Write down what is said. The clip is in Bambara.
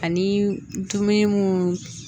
Ani dumuni mun